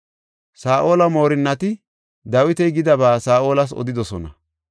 Saa7ola moorinnati Dawiti gidaba Saa7olas odidosona.